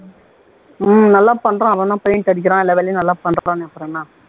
உம் நல்லா பண்றான் அவன்தான் paint அடிக்கிறான் எல்லா வேலையும் நல்லா பண்றானே அப்புறம் என்ன